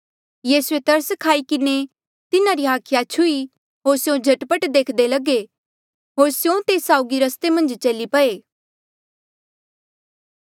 यीसूए तरस खाई किन्हें तिन्हारी हाखिया छुही होर स्यों झट पट देख्दे लगे होर स्यों तेस साउगी रस्ते मन्झ चली पए